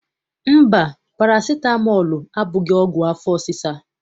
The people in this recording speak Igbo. Mba, parasitamọl abụghị ọgwụ afọ ọsịsa.